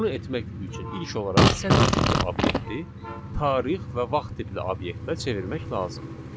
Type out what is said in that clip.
Bunu etmək üçün ilk olaraq sətr tipli obyekti tarix və vaxt tipli obyektə çevirmək lazımdır.